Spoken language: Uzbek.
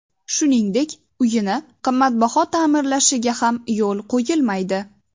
Shuningdek, uyini qimmatbaho ta’mirlashiga ham yo‘l qo‘yilmaydi.